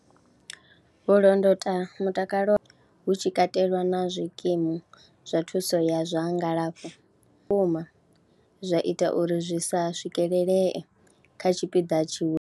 Vho londota mutakalo hu tshi katelwa na zwikimu zwa thuso ya zwa ngalafho, vhukuma zwa ita uri zwi sa swikelelee kha tshipiḓa tshiwe.